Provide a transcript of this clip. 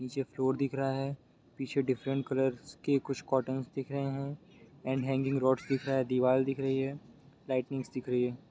नीचे फ्लोर दिख रहा है पीछे डिफरेंट कलर्स के कुछ कॉटन्स दिख रहे है एण्ड हैंगिंग रॉड दिख रहा है दीवाल दिख रही है लाइटिंग्स दिख रही हैं।